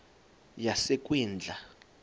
yasekwindla